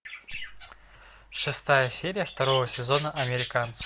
шестая серия второго сезона американцы